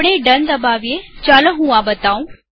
આપણે ડન દબાવીએચાલો હું આ બતાઉં